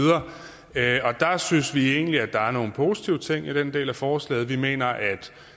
synes egentlig der er nogle positive ting i den del af forslaget vi mener at